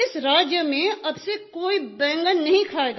इस राज्य में अब से कोई बैगन नहीं खायेगा